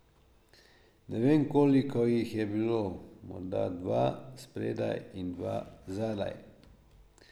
Ne vem, koliko jih je bilo, morda dva spredaj in dva zadaj.